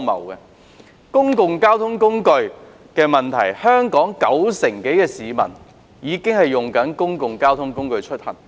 在公共交通方面，香港已有九成多市民使用公共交通工具出行。